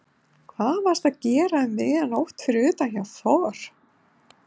Hvað varstu að gera um miðja nótt fyrir utan hjá Þor